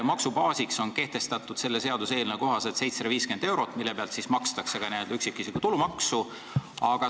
Maksubaasiks on selle seaduseelnõu kohaselt kehtestatud 750 eurot, mille pealt makstakse ka üksikisiku tulumaksu.